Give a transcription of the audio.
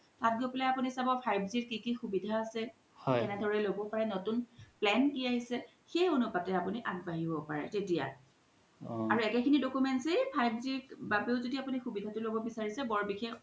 তাত গই পেলাই চাব five G ৰ কি কি সুবিধা আছে তেনে দৰে ল'ব পাৰে নতুন plan কি আহিছে সেই অনুপাতে আপুনি আগবাঢ়িব পাৰে তেতিয়া আৰু একে খিনি documents য়ে জোদি five G ৰ বাবে ও আপুনি সুবিধা তো ল্'ব বিচাৰিছে